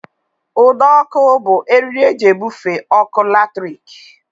Ụdọọkụ bụ eriri e ji ebufe ọkụ latrik